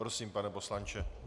Prosím, pane poslanče.